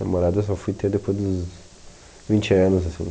Namorada eu só fui ter depois dos vinte anos, assim.